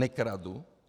Nekradu.